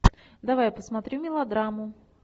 давай посмотрю мелодраму